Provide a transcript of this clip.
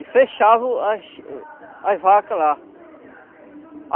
e fechavam as as vacas lá.